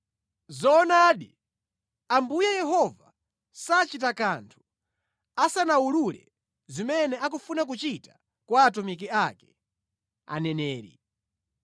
Zoonadi Ambuye Yehova sachita kanthu asanawulule zimene akufuna kuchita kwa atumiki ake, aneneri.